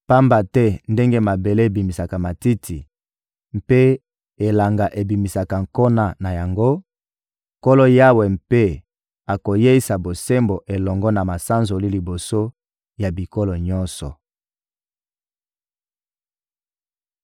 Pamba te ndenge mabele ebimisaka matiti mpe elanga ebimisaka nkona na yango, Nkolo Yawe mpe akoyeisa bosembo elongo na masanzoli liboso ya bikolo nyonso.